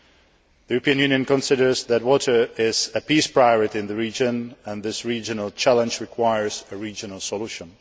The European Union considers that water is a peace priority in the region and this regional challenge requires a regional solution.